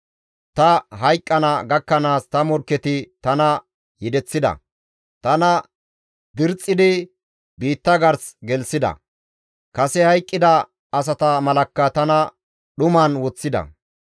Ta hayqqana gakkanaas ta morkketi tana yedeththida; tana dirxxidi biitta gars gelththida; kase hayqqida asata malakka tana dhuman woththida.